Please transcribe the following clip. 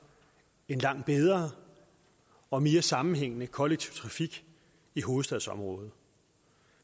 en langt bedre og mere sammenhængende kollektiv trafik i hovedstadsområdet